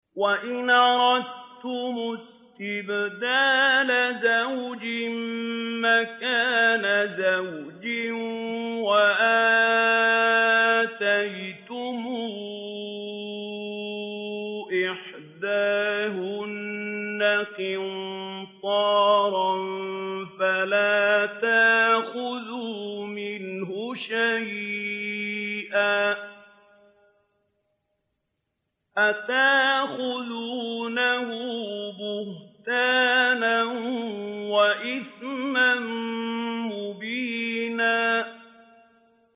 وَإِنْ أَرَدتُّمُ اسْتِبْدَالَ زَوْجٍ مَّكَانَ زَوْجٍ وَآتَيْتُمْ إِحْدَاهُنَّ قِنطَارًا فَلَا تَأْخُذُوا مِنْهُ شَيْئًا ۚ أَتَأْخُذُونَهُ بُهْتَانًا وَإِثْمًا مُّبِينًا